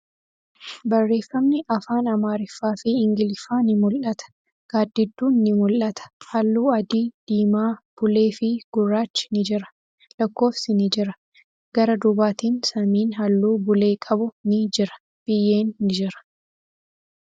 Barreeffamni afaan Amaariffaa fi Ingiliffaa ni mul'ata. Gaaddidduun ni mul'ata. Haalluu adii, diimaa, bulee fi gurraachi ni jira. Lakkoofsi ni jira. Gara duubatiin samiin haalluu bulee qabu ni jira. Biyyeen ni jira.